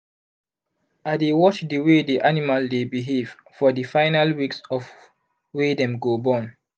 i dey watch the way the animal dy behave for the final weeks of wy dem go born